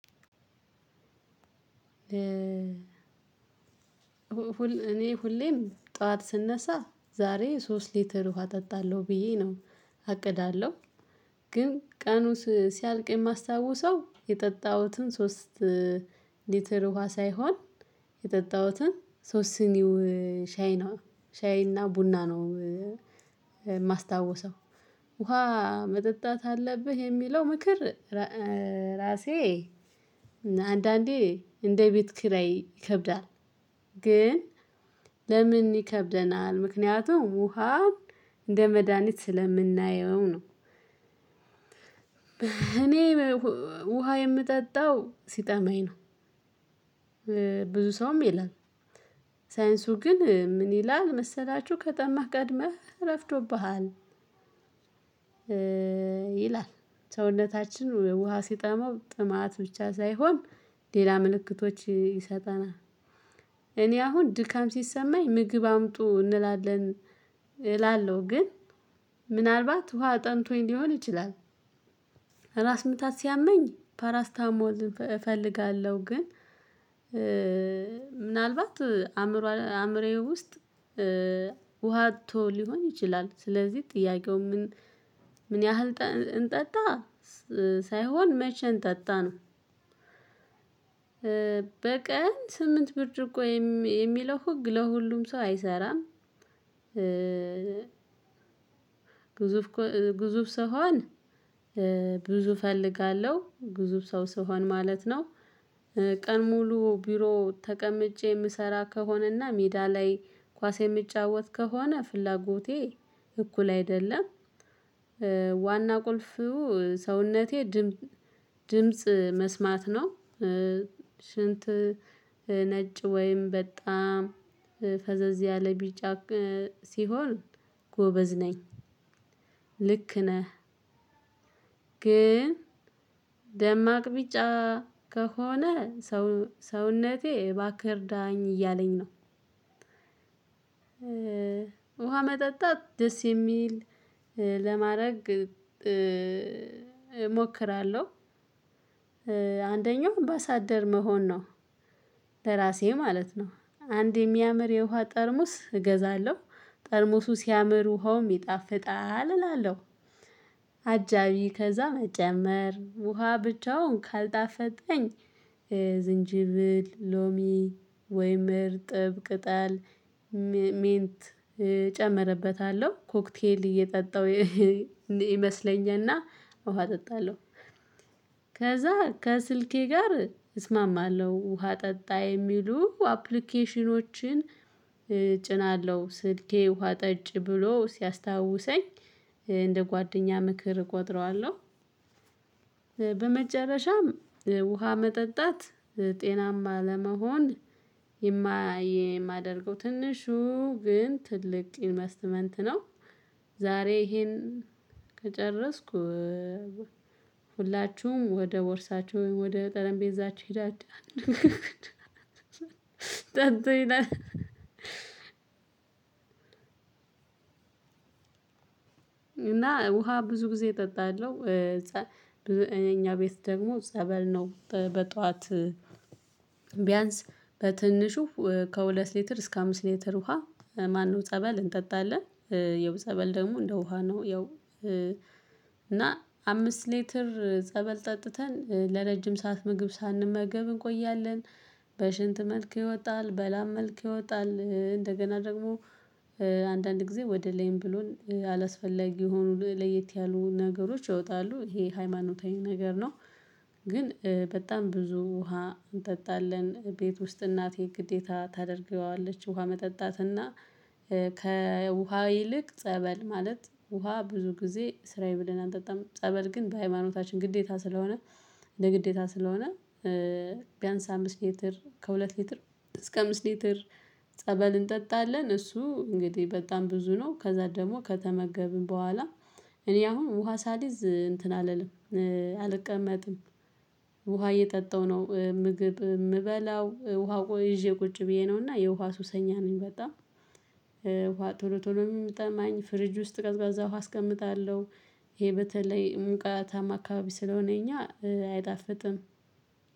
እኔ ሁሌም ጠዋት ስነሳ ዛሬ ሶስት ሌትር ውሃ እጠጣለሁ ብዬ ነው አቅዳለሁ። ግን ቀኑ ሲያልቅ የማስታውሰው የጠጣሁትን ሶስት ሊትር ውሃ ሳይሆን የጠጣሁትን ሶስት ሲኒው ሻይ ነው። ሻይ እና ቡና ነው። የማስታወሰው ውሃ መጠጣት አለብህ የሚለው ምክር ራሴ አንዳንዴ እንደ ቤት ኪራይ ይከብዳል። ግን ለምን ይከብደናል? ምክንያቱም ውሃን እንደ መድሃኒት ስለምናየው ነው። እኔ ውሃ የምጠጣው ሲጠማኝ ነው። ብዙ ሰውም ይላል። ሳይንሱ ግን ምን ይላል መሰላችሁ? ከጠማህ ቀድመህ ረፍዶብሃል ይላል። ሰውነታችን ውሃ ሲጠማው ጥማት ብቻ ሳይሆን ሌላ ምልክቶች ይሰጠናል። እኔ አሁን ድካም ሲሰማኝ ምግብ አምጡ እንላለን እላለሁ። ግን ምናልባት ውሃ ጠምቶኝ ሊሆን ይችላል። ራስ ምታት ሲያመኝ ፓራስታሞል እፈልጋለሁ። ግን ምናልባት አእምሮዬ ውስጥ ውሃ አጥቶ ሊሆን ይችላል። ስለዚህ ጥያቄው ምን ምን ያህል እንጠጣ ሳይሆን መቼ እንጠጣ ነው። በቀን ስምንት ብርጭቆ የሚለው ህግ ለሁሉም ሰው አይሰራም። ግዙፍ ግዙፍ ሰው ከሆን ብዙ እፈልጋለሁ ግዙፍ ሰው ስሆን ማለት ነው። ቀን ሙሉ ቢሮ ተቀምጬ የምሰራ ከሆነና ሜዳ ላይ ኳስ የምጫወት ከሆነ ፍላጎቴ እኩል አይደለም። ዋና ቁልፉ ሰውነቴ ድምጽ መስማት ነው። ሽንት ነጭ ወይም በጣም ፈዘዝ ያለ ቢጫ ሲሆን ጎበዝ ነኝ። ልክ ነህ። ግን ደማቅ ቢጫ ከሆነ ሰውነቴ እባክህ እርዳኝ እያለኝ ነው። ውሃ መጠጣት ደስ የሚል ለማድረግ እሞክራለሁ። አንደኛው አምባሳደር መሆን ነው ለራሴ ማለት ነው። አንድ የሚያምር የውሃ ጠርሙስ እገዛለሁ ጠርሞሱ ሲያምር ውሃውም ይጣፍጣል እላለሁ። አጃቢ ከዛ መጨመር ውሃ ብቻውን ካልጣፈጠኝ ዝንጅብል ሎሚ ወይም እርጥብ ቅጠል ሜንት እጨምርበታለሁ ኮክቴል እየጠጣሁ ይመስለኝና ውሃ እጠጣለሁ። ከዛ ከስልኬ ጋር እስማማለሁ ውሃ ጠጣ የሚሉ አፕሊኬሽኖችን እጭናለሁ ስልኬ ውሃ ጠጭ ብሎ ሲያስታውሰኝ እንደ ጓደኛ ምክር እቆጥረዋለሁ። በመጨረሻም ውሃ መጠጣት ጤናማ ለመሆን የማደርገው ትንሹ ግን ትልቅ ኢንቨስትመንት ነው። ዛሬ ይሄን ከጨረስኩ ሁላችሁም ወደ ቦርሳችሁ ወደ ጠረንጴዛችሁ ሄዳችሁ ጠጡ ይላል። እና ውሃ ብዙ ጊዜ እጠጣለሁ። ብዙ እኛ ቤት ደግሞ ጸበል ነው በጧት። ቢያንስ በትንሹ ከሁለት ሊትር እስከ አምስት ሊትር ውሃ ማነው ጸበል እንጠጣለን። የው ጸበል ደግሞ እንደ ውሃ ነው ያው። እና አምስት ሊትር ጸበል ጠጥተን ለረጅም ሰዓት ምግብ ሳንመገብ እንቆያለን። በሽንት መልክ ይወጣል በላም መልክ ይወጣል። እንደገና ደግሞ አንዳንድ ጊዜ ወደ ላይም ብሎን አላስፈላጊ የሆኑ ለየት ያሉ ነገሮች ይወጣሉ ይሄ ሃይማኖታዊ ነገር ነው። ግን በጣም ብዙ ውሃ እንጠጣለን ቤት ውስጥ እናቴ ግዴታ ታደርገዋለች ውሃ መጠጣት እና። ከውሃ ይልቅ ጸበል ማለት ውሃ ብዙ ጊዜ ስራዬ ብለን አንጠጣም ጸበል ግን በሃይማኖታችን ግዴታ ስለሆነ። እንደ ግዴታ ስለሆነ። ቢያንስ አምስት ሊትር ከሁለት ሊትር እስከ አምስት ሊትር ጸበል እንጠጣለን። እሱ እንግዲህ በጣም ብዙ ነው ከዛ ደግሞ ከተመገብን በኋላ እኔ አሁን ውሃ ሳልይዝ እንትን አልልም። አልቀመጥም። ውሃ እየጠጣው ነው ምግብ የምበላው ውሃ ይዤ ቁጭ ብዬ ነው እና የውሃ ሱሰኛ ነኝ። በጣም ውሃ ቶሎ ቶሎ የሚጠማኝ ፍሪጅ ውስጥ ቀዝቃዛ ውሃ አስቀምጣለሁ። ይሄ በተለይ ሙቀታማ አካባቢ ስለሆነ የኛ አይጣፍጥም።